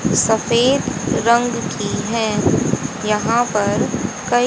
सफेद रंग की है यहां पर कई--